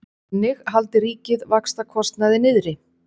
Þannig haldi ríkið vaxtakostnaði niðri